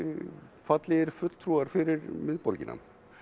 fallegir fulltrúar fyrir miðborgina